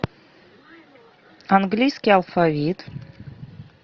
английский алфавит